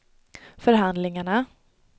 förhandlingarna